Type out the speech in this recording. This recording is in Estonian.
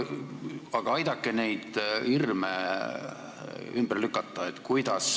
Aga aidake neid hirme ümber lükata.